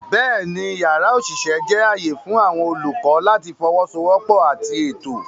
Bẹ́ẹ̀ni, yàrá òṣìṣẹ́ jẹ́ ààyè fún àwọn olùkọ́ láti fọwọ́sowọ́pọ̀ àti ètò.